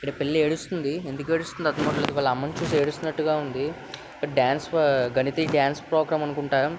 ఇక్కడ పిల్ల ఏడుస్తుంది ఎందుకు ఏడుస్తుందో అర్ధం కావట్లే వాళ్ళ అమ్మ ని చూస్తూ ఏడుస్తున్నాటుగా ఉంది ఇక్కడ డాన్స్ డాన్స్ ప్రోగ్రాం . అనుకుంట.